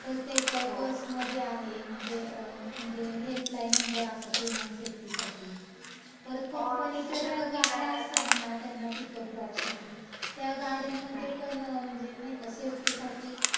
प्रत्येक बस मधे आहे, म्हणजे म्हणजे हेल्पलाइन नंबर असा तो म्हण सेफ्टीसाठी. परत कंपनीच्या ज्या गाड्या असतात ना त्यांना पिकअप ड्रॉपसाठी त्या गाड्यांमधेपण म्हणजे नाई का सेफ्टीसाठी, हो. हो आता ते सर्वच निघालयं पण, हम्म.